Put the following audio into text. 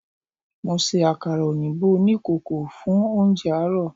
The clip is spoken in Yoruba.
Mo se àkàrà òyìnbó oní ìkòkò fún oúnje àárò